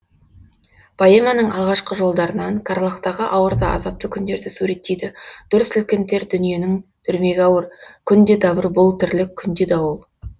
поэманың алғашқы жолдарынан қарлагтағы ауыр да азапты күндерді суреттейді дүр сілкінтер дүниенің дүрмегі ауыр күнде дабыр бұл тірліккүнде дауыл